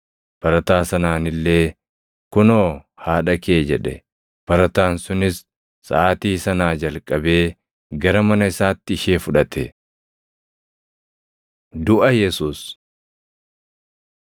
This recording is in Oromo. Barataa sanaan illee, “Kunoo haadha kee” jedhe; barataan sunis saʼaatii sanaa jalqabee gara mana isaatti ishee fudhate. Duʼa Yesuus 19:29,30 kwf – Mat 27:48,50; Mar 15:36,37; Luq 23:36